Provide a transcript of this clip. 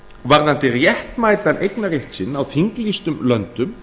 varðandi réttmætan eignarrétt sinn á þinglýstum löndum